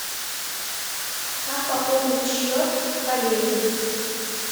как пополнить счет коллеге